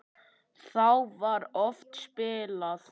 Þá var oft spilað.